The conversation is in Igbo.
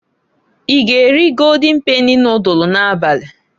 I g'eri Goldin peni nodulu n'abali?